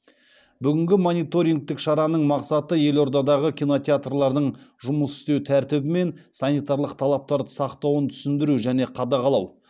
бүгінгі мониторингтік шараның мақсаты елордадағы кинотеатрлардың жұмыс істеу тәртібі мен санитарлық талаптарды сақтауын түсіндіру және қадағалау